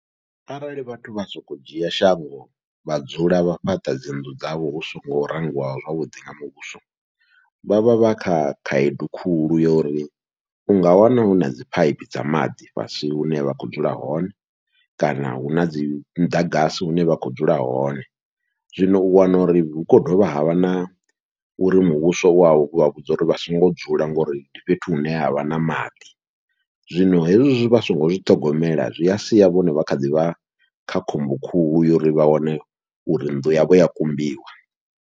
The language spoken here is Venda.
Arali vhathu vha soko dzhia shango vha dzula vha fhaṱa dzi nnḓu dzavho hu songo rangiwa zwavhuḓi nga muvhuso, vha vha vha kha khaedu khulu ya uri unga wana huna dzi phaiphi dza maḓi fhasi hune vha kho dzula hone, kana huna dzi muḓagasi hune vha kho dzula hone. Zwino u wana uri hu kho dovha havha na uri muvhuso wa vho vha vhudza uri vha songo dzula, ngori ndi fhethu hune havha na maḓi zwino hezwi vha songo zwi ṱhogomela zwia sia vhone vha kha ḓivha kha khombo khuhu yo ri vha wane uri nnḓu yavho ya kumbiwa.